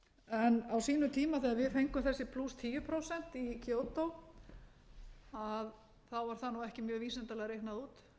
á sínum tíma þegar við fengum þessi tíu prósent í kyoto þá var það nú ekki mjög vísindalega reiknað út því hefur nú svolítið